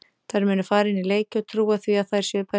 Þær munu fara inn í leiki og trúa því að þær séu bestar.